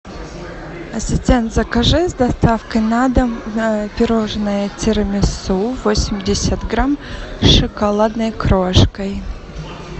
ассистент закажи с доставкой на дом пирожное тирамису восемьдесят грамм с шоколадной крошкой